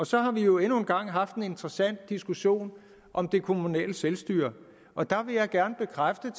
så har vi jo endnu en gang haft en interessant diskussion om det kommunale selvstyre og der vil jeg gerne bekræfte